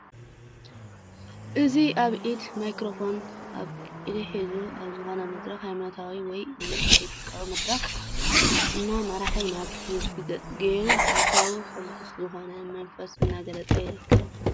እዚ ኣብ ኢዱ ማይክሮፎን ኣብ አዱ ሒዙ ኣብ ዝኾነ መድረክ ሃይማኖታዊ ወይ እውን ፖሊቲካዊ መድረኽ እና መርሐ ናብ ህዝቢ ገፁ ገይሩ ሓሳቡ ሕጉስ ዝኾነ መንፈስ እናገለፀ ይርከብ፡፡